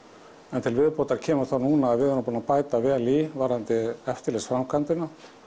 en til viðbótar kemur þá núna að við erum búin að bæta vel í varðandi eftirlitsframkvæmdina